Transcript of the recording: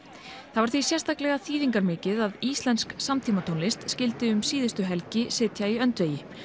það var því sérlega þýðingarmikið að íslensk samtímatónlist skyldi um síðustu helgi sitja í öndvegi